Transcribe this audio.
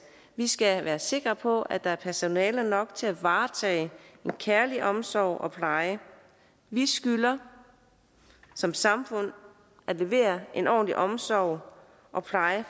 vi skal være sikre på at der er personale nok til at varetage en kærlig omsorg og pleje vi skylder som samfund at levere en ordentlig omsorg og pleje